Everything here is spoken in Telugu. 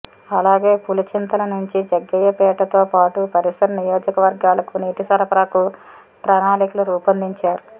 అలాగే పులిచింతల నుంచి జగ్గయ్యపేటతో పాటు పరిసర నియోజకవర్గాలకు నీటి సరఫరాకు ప్రణాళికలు రూపొందించారు